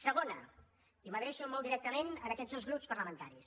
segona i m’adreço molt directament a aquests dos grups parlamentaris